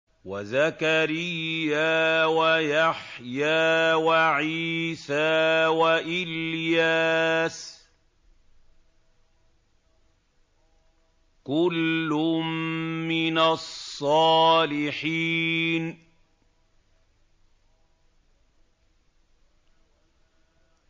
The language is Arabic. وَزَكَرِيَّا وَيَحْيَىٰ وَعِيسَىٰ وَإِلْيَاسَ ۖ كُلٌّ مِّنَ الصَّالِحِينَ